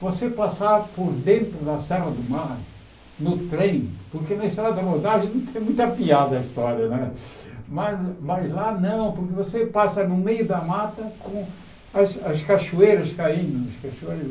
Você passar por dentro da Serra do Mar no trem, porque na estrada rodada não tem muita piada a história né, mas mas lá não, porque você passa no meio da mata com as as cachoeiras caindo. As cachoeiras